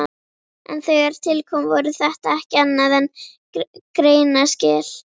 En þegar til kom voru þetta ekki annað en greinaskil.